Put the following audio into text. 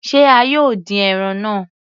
Se a yóò dín ẹran náà?